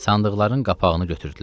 Sandıqların qapağını götürdülər.